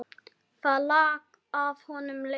Það lak af honum leiði.